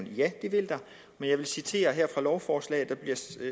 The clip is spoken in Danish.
ja det vil der men jeg vil citere fra lovforslaget